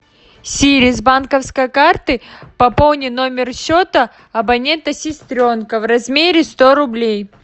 сири с банковской карты пополни номер счета абонента сестренка в размере сто рублей